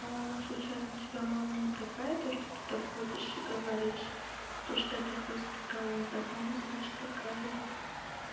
случайно у тебя мама не такая то что ты так ходишь и говоришь то что я так воспитала не так наверно значит такая же